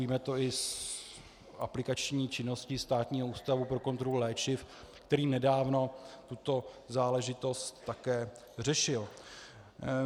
Víme to i z aplikační činnosti Státního ústavu pro kontrolu léčiv, který nedávno tuto záležitost také řešil.